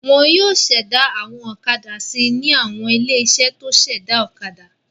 Wọn yóò ṣẹ̀dá àwọn ọ̀kadà si ní àwọn ilé-iṣẹ́ tó ṣẹ̀dá ọ̀kadà.